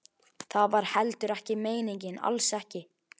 Það var heldur ekki meiningin, alls ekki.